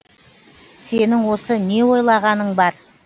сенің осы не ойлағаның бар